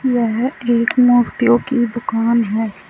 यह एक मूर्तियों की दुकान है।